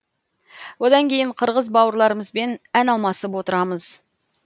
одан кейін қырғыз бауырларымызбен ән алмасып отырамыз